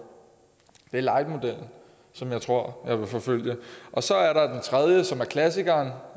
det er lightmodellen som jeg tror jeg vil forfølge så er der den tredje som er klassikeren